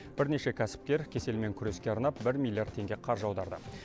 бірнеше кәсіпкер кеселмен күреске арнап бір миллиард теңге қаржы аударды